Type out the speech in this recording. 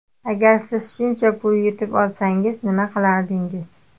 Agar siz shuncha pul yutib olsangiz nima qilardingiz?